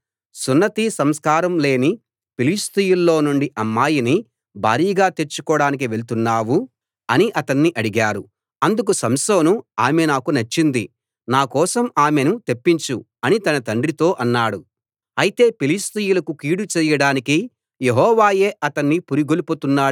వారు నీ బంధువుల్లో గానీ మన సొంత జాతిలో గానీ అమ్మాయిలు లేరనా సున్నతి సంస్కారం లేని ఫిలిష్తీయుల్లో నుండి అమ్మాయిని భార్యగా తెచ్చుకోడానికి వెళ్తున్నావు అని అతణ్ణి అడిగారు అందుకు సంసోను ఆమె నాకు నచ్చింది నా కోసం ఆమెను తెప్పించు అని తన తండ్రితో అన్నాడు